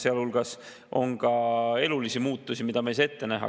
Sealhulgas on ka elulisi muutusi, mida me pole saanud ette näha.